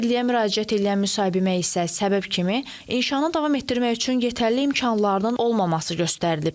Nazirliyə müraciət eləyən müsahibimə isə səbəb kimi, inşaana davam etdirmək üçün yetərli imkanların olmaması göstərilib.